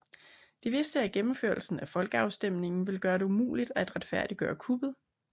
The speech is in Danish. De vidste at gennemførelsen af folkeafstemningen ville gøre det umuligt at retfærdiggøre kuppet